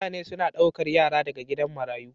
mutane suna daukar yara daga gidan marayu.